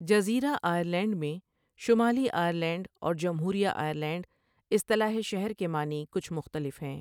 جزیرہ آئرلینڈ میں شمالی آئرلینڈ اور جمہوریہ آئرلینڈ اصظلاح شہر کے معنی کچھ مختلف ہیں۔